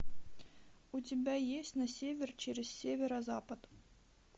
у тебя есть на север через северо запад